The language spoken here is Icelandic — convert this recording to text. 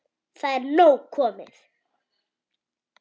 Það er nóg komið.